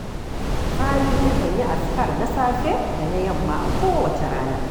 Sani yakan yi azkar na safe da na yamma a kowacce rana